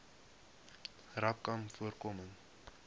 rapcanvoorkoming